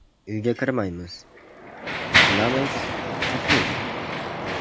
Uyga kirmaymiz, bilamiz, xavfli.